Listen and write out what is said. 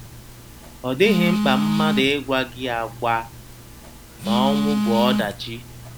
Ọ dịghị mkpa mmadụ ịgwa gị agwa na ọnwụ bụ ọdachi.